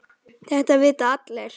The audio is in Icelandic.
Þetta vita allir.